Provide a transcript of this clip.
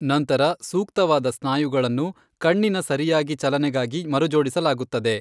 ನಂತರ ಸೂಕ್ತವಾದ ಸ್ನಾಯುಗಳನ್ನು ಕಣ್ಣಿನ ಸರಿಯಾಗಿ ಚಲನೆಗಾಗಿ ಮರುಜೋಡಿಸಲಾಗುತ್ತದೆ.